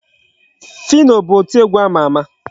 Phyno bụ oti egwu ama ama.